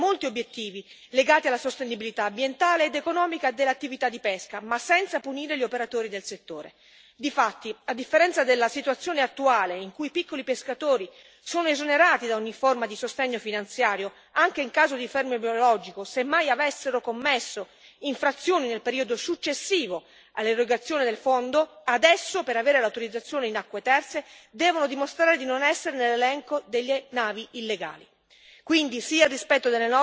Il nuovo pacchetto di norme raggiunge molti obiettivi legati alla sostenibilità ambientale ed economica dell'attività di pesca, ma senza punire gli operatori del settore. Difatti, a differenza della situazione attuale in cui i piccoli pescatori sono esonerati da ogni forma di sostegno finanziario, anche in caso di fermo biologico, semmai avessero commesso infrazioni nel periodo successivo all'erogazione del fondo, adesso per avere l'autorizzazione in acque terze devono dimostrare di non essere nell'elenco delle navi illegali.